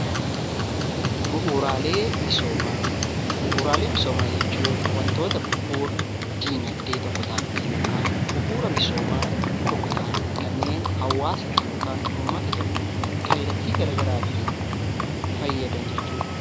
Bu'uuraalee misoomaa jechuun wantoota bu'uura dinagdee tokkoo ta'an yookaan bu'uura misooma tokko ta'an kanneen hawaasa yookaan uummata tokko kallattii gara garaatiin fayyadan jechuudha.